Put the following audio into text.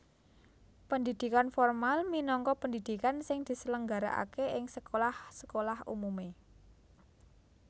Pendhidhikan formal minangka pendhidhikan sing diselenggarakaké ing sekolah sekolah umumé